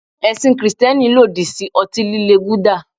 Ẹ̀sìn Kristẹni lòdì sí ọtí líle bíi gulder.